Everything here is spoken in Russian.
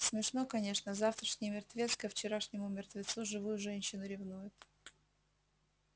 смешно конечно завтрашний мертвец ко вчерашнему мертвецу живую женщину ревнует